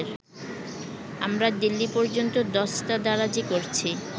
আমরা দিল্লী পর্যন্ত দস্তদারাজী করছি